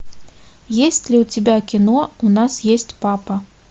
есть ли у тебя кино у нас есть папа